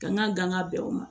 Kan ka danga bɛn o ma